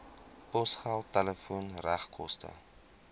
posgeld telefoon regskoste